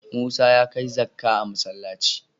Musa ya kai zakka a masallci.